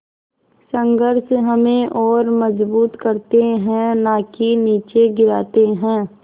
संघर्ष हमें और मजबूत करते हैं नाकि निचे गिराते हैं